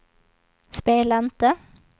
spela inte